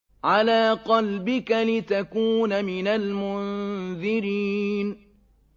عَلَىٰ قَلْبِكَ لِتَكُونَ مِنَ الْمُنذِرِينَ